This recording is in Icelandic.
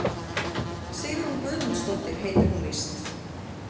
Sigrún Guðmundsdóttir heitir hún víst.